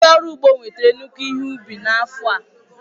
Ndị ọrụ ugbo nwetara nnukwu ihe ubi n'afọ a.